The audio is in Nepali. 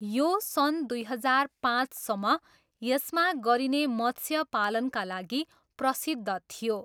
यो सन् दुई हजार पाँचसम्म यसमा गरिने मत्स्यपालनका लागि प्रसिद्ध थियो।